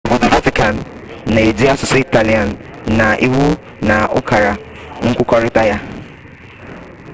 obodo vatican na-eji asụsụ italian na iwu na ukara nkwukọrịta ya